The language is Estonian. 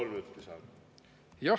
Kolm minutit lisaaega.